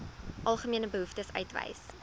algemene behoeftes uitwys